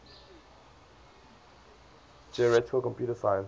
theoretical computer science